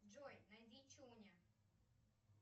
джой найди чуня